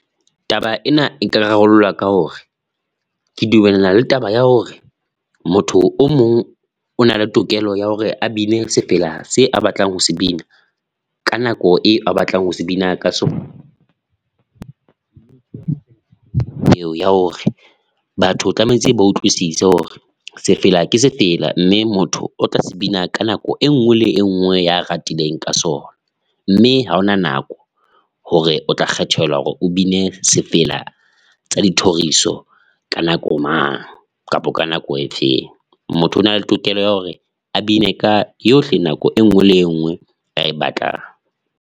Taba ena eka rarollwa ka hore, ke dumellana le taba ya hore motho o mong o na le tokelo ya hore a bina sefela se a batlang ho se bina, ka nako e a batlang ho se bina ka sona, eo ya hore batho tlamehetse ba utlwisise hore sefela ke sefela mme motho o tla se bina ka nako e nngwe le e nngwe ya ratileng ka sona, mme ha hona nako hore o tla kgethelwa hore o bine sefela tsa dithoriso ka nako mang kapa ka nako e feng. Motho o nale tokelo ya hore a bine ka yohle nako e nngwe le enngwe a e batlang.